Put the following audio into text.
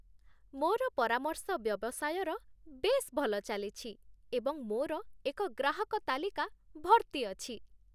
ମୋର ପରାମର୍ଶ ବ୍ୟବସାୟର ବେଶ୍ ଭଲ ଚାଲିଛି, ଏବଂ ମୋର ଏକ ଗ୍ରାହକ ତାଲିକା ଭର୍ତ୍ତି ଅଛି।